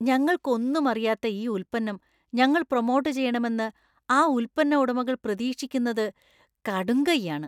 ഞങ്ങൾക്ക് ഒന്നും അറിയാത്ത ഈ ഉൽപ്പന്നം ഞങ്ങൾ പ്രൊമോട്ട് ചെയ്യണമെന്ന് ആ ഉൽപ്പന്ന ഉടമകൾ പ്രതീക്ഷിക്കുന്നത് കടുംകൈയാണ്.